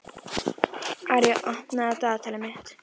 Arja, opnaðu dagatalið mitt.